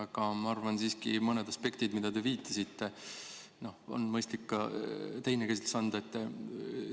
Aga ma arvan siiski, et mõnele aspektile, mida te viitasite, on mõistlik ka teine käsitlus anda.